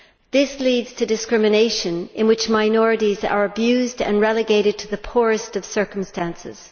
This leads to discrimination in which minorities are abused and relegated to the poorest of circumstances.